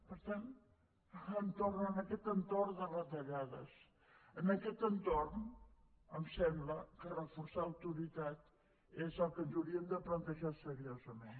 per tant en aquest entorn de retallades en aquest entorn em sembla que reforçar autoritat és el que ens hauríem de plantejar seriosament